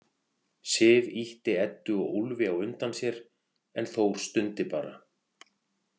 Sif ýtti Eddu og Úlfi á undan sér en Þór stundi bara.